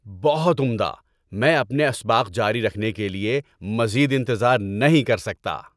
بہت عمدہ! میں اپنے اسباق جاری رکھنے کے لیے مزید انتظار نہیں کر سکتا۔